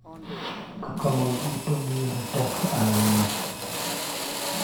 Kaka mon duto miyore teko ahinya a